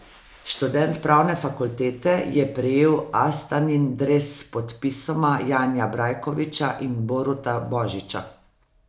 Študent pravne fakultete je prejel Astanin dres s podpisoma Janija Brajkoviča in Boruta Božiča.